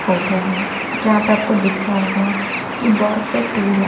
Photo है जहां पर आपको दिख रहा होगा कि बहोत से टूल हैं।